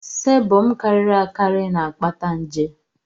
sébọm karịrị akarị na-akpata nje